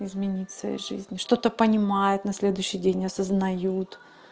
изменить в своей жизни что-то понимает на следующий день не осознают